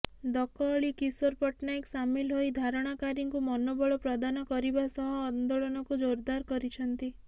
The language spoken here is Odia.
ଦକ ଅଳି କିଶୋର ପଟ୍ଟନାୟକ ସାମିଲ ହୋଇ ଧାରଣାକାରୀଙ୍କୁ ମନୋବଳ ପ୍ରଦାନ କରିବା ସହ ଆନ୍ଦୋଳନକୁ ଜୋରଦାର କରିଛନ୍ତି